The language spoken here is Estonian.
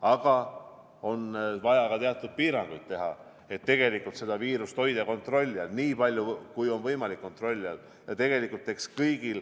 Aga on vaja teha ka teatud piiranguid, et viirust kontrolli all hoida nii palju, kui on võimalik kontrolli all hoida.